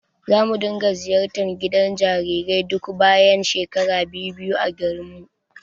Zamu dinga ziyartar gidan jarirai duk bayan shekara biyu-biyu a garinmu.